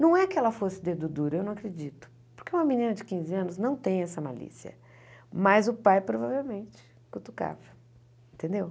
Não é que ela fosse dedo duro, eu não acredito, porque uma menina de quinze anos não tem essa malícia, mas o pai provavelmente cutucava, entendeu?